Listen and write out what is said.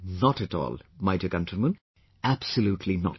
Not at all, my dear countrymen, absolutely not